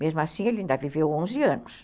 Mesmo assim, ele ainda viveu onze anos.